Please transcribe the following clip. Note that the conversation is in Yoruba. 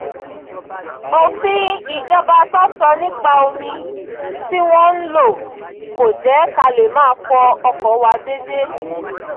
òfin ìjọba tó sọ nípa omi tí wọ́n ń lò kò jẹ́ ká lè máa fọ ọkọ̀ wa déédéé